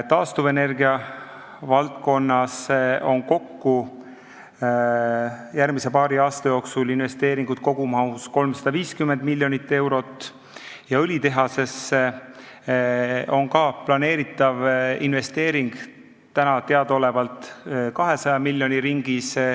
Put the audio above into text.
Taastuvenergia valdkonnas on järgmise paari aasta jooksul investeeringuid kogumahus 350 miljonit eurot ja õlitehasesse planeeritav investeering on täna teadaolevalt 200 miljoni ringis.